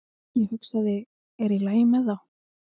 Ég hugsaði, er í lagi með þá?